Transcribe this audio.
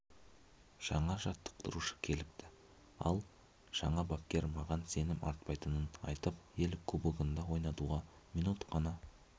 жаңа жаттықтырушы келіпті ал жаңа бапкер маған сенім артпайтынын айтып ел кубогында ойнауға минут қана